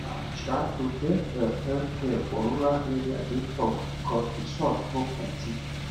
um um to get um healthcare for rural area dey tough because resource no plenty